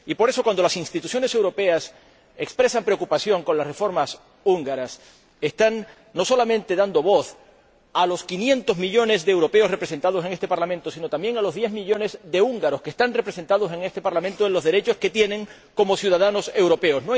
Por eso, cuando las instituciones europeas expresan preocupación por las reformas húngaras están dando voz, no solamente a los 500 millones de europeos representados en este Parlamento, sino, también, a los diez millones de húngaros que están representados en este Parlamento por lo que respecta a los derechos que tienen como ciudadanos europeos.